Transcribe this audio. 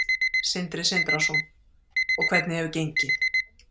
Sindri Sindrason: Og hvernig hefur gengið?